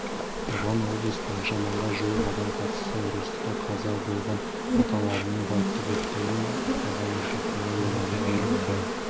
оған облыс бойынша мыңға жуық адам қатысты ұрыста қаза болған аталарының портреттерін ұстаған ұрпақтары олардың ерліктерін